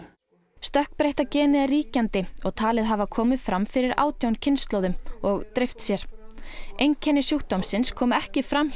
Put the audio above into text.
stökkbreytta genið er ríkjandi og talið hafa komið fram fyrir átján kynslóðum og dreift sér einkenni sjúkdómsins komu ekki fram hjá